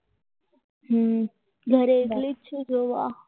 ઘરે એકલી જતો હતો